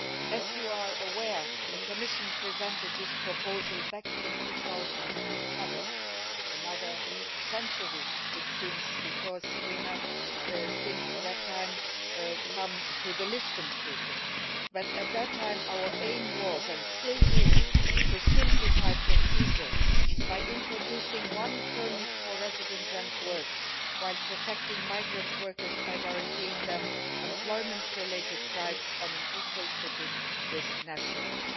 As you are aware, the Commission presented this proposal back in 2007, which seems like another century because since then we have arrived at the Lisbon Treaty, but at that time our aim was and still is to simplify procedures by introducing one permit for residence and work, while protecting migrant workers by guaranteeing them employment related rights on an equal footing with nationals.